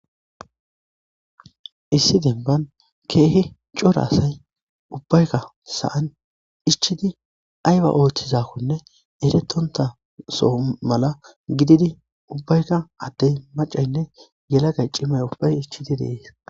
Issi denban keehi cora asay ubbaykka sa'an ichchidi ayba ooththizakonne eretonta soho mala gididi ubbayka addey maccaynne yelagay cimay ubbay ichchidi de'es.